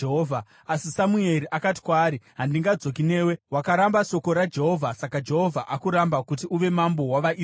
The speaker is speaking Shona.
Asi Samueri akati kwaari, “Handingadzoki newe. Wakaramba shoko raJehovha, saka Jehovha akuramba kuti uve mambo wavaIsraeri!”